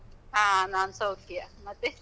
ಹಾ ನಾನ್ ಸೌಖ್ಯ, ಮತ್ತೆ?